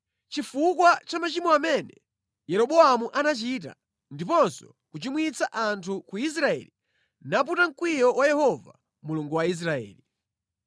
chifukwa cha machimo amene Yeroboamu anachita, ndiponso kuchimwitsa anthu a ku Israeli, naputa mkwiyo wa Yehova Mulungu wa Israeli.